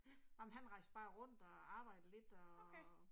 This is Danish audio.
Ja. Okay